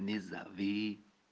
не зови